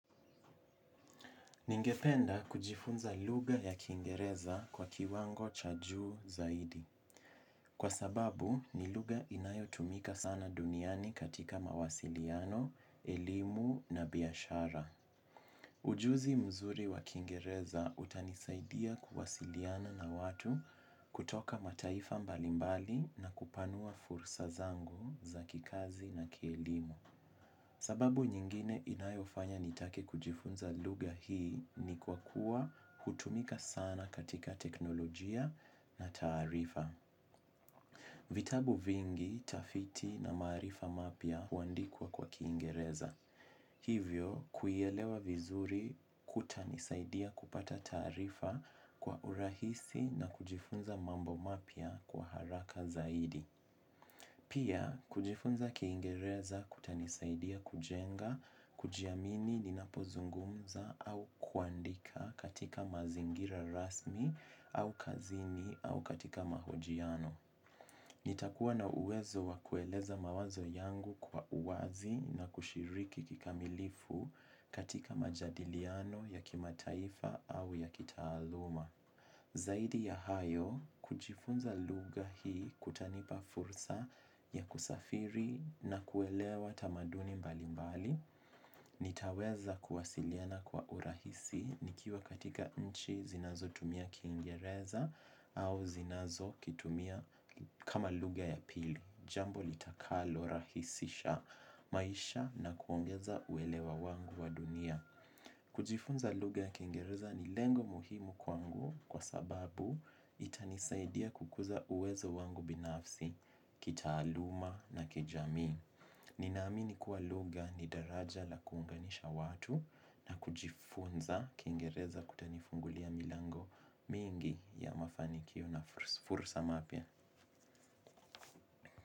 Ningependa kujifunza lugha ya kiingereza kwa kiwango cha juu zaidi. Kwa sababu, ni lugha inayotumika sana duniani katika mawasiliano, elimu na biashara. Ujuzi mzuri wa kiingereza utanisaidia kuwasiliana na watu kutoka mataifa mbalimbali na kupanua fursa zangu za kikazi na kielimu. Sababu nyingine inayofanya nitake kujifunza lugha hii ni kwa kuwa hutumika sana katika teknolojia na taarifa. Vitabu vingi, tafiti na maarifa mapya huandikuwa kwa kiingereza. Hivyo, kuielewa vizuri kutanisaidia kupata taarifa kwa urahisi na kujifunza mambo mapya kwa haraka zaidi. Pia, kujifunza kiingereza kutanisaidia kujenga, kujiamini ninapozungumza au kuandika katika mazingira rasmi au kazini au katika mahojiano. Nitakuwa na uwezo wakueleza mawazo yangu kwa uwazi na kushiriki kikamilifu katika majadiliano ya kimataifa au ya kitaaluma. Zaidi ya hayo, kujifunza lugha hii kutanipa fursa ya kusafiri na kuelewa tamaduni mbali mbali, nitaweza kuwasiliana kwa urahisi nikiwa katika nchi zinazo tumia kiingereza au zinazo kitumia kama lugha ya pili, jambo litakalo rahisisha maisha na kuongeza uelewa wangu wa dunia. Kujifunza lugha ya kiingereza ni lengo muhimu kwangu kwa sababu itanisaidia kukuza uwezo wangu binafsi, kitaaluma na kijamii. Ninaamini kuwa lugha ni daraja la kuunganisha watu na kujifunza kiingereza kutanifungulia milango mingi ya mafanikio na fursa mapya.